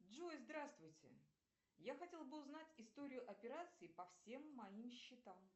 джой здравствуйте я хотела бы узнать историю операций по всем моим счетам